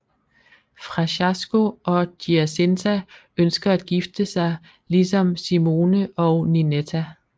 Fracasso og Giacinta ønsker at gifte sig ligesom Simone og Ninetta